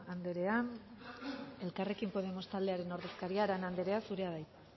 anderea elkarrekin podemos taldearen ordezkaria arana anderea zurea da hitza